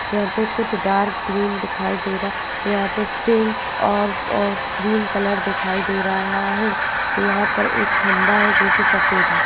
यहाँ कुछ डार्क और ग्रीन दिखाई दे रहा है यहाँ पे पिंक और और ग्रीन कलर दिख रहा है यहाँ पे एक खम्बा है जो की सफ़ेद है।